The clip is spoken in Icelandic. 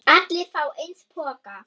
Allir fá eins poka.